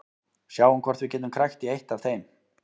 Sjáum hvort við getum krækt í eitt af þeim.